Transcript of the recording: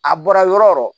A bɔra yɔrɔ o yɔrɔ